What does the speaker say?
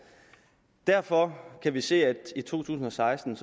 derfor kan vi se at der i to tusind og seksten